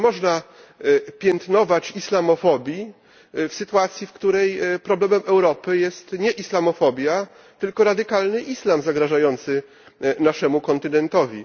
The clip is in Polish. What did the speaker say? Nie można przecież piętnować islamofobii w sytuacji, w której problemem Europy jest nie islamofobia, tylko radykalny islam zagrażający naszemu kontynentowi.